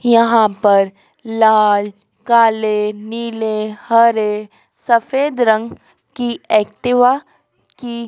यहां पर लाल काले नीले हरे सफेद रंग की एक्टिवा की--